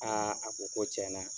a ko ko tiɲɛna